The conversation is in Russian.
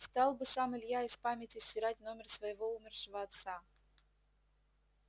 стал бы сам илья из памяти стирать номер своего умершего отца